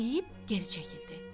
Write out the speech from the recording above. Tfvu deyib geri çəkildi.